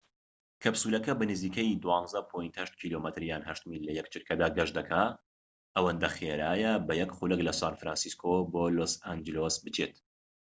کەپسولەکە بە نزیکەی 12.8 کم یان 8 میل لە یەک چرکە گەشت دەکا ئەوەندە خێرایە بە یەک خولەك لە سان فرانسیسکۆ بۆ لۆس ئەنجلس بچێت